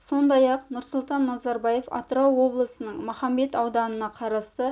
сондай-ақ нұрсұлтан назарбаев атырау облысының махамбет ауданына қарасты